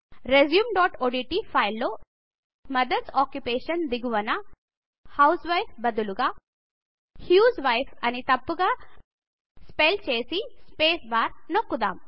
resumeఓడ్ట్ file లో mother's occupation దిగువన housewife బదులుగా హ్యూస్వైఫ్ అని తప్పుగా స్పెల్ చేసి స్పేస్ బార్ నొక్కుద్దము